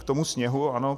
K tomu sněhu, ano.